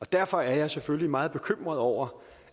derfor er jeg selvfølgelig meget bekymret over